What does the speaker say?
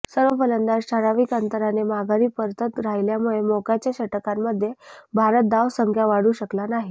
सर्व फलंदाज ठरावीक अंतराने माघारी परतत राहिल्यामुळे मोक्याच्या षटकांमध्ये भारत धावसंख्या वाढवू शकला नाही